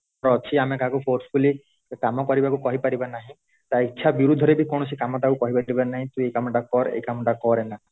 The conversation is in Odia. ଅଛି ଆମେ କାହା କୁ force fully କାମ କରିବାକୁ କହି ପାରିବା ନାହିଁ ତା ଇଛା ବିରୁଦ୍ଧରେ ବି କୌଣସି କାମ ତାକୁ କହି ପାରିବା ନାହଁ ତୁ ଏଇ କାମ ଟା କର ଏଇ କାମ ଟା କର ନା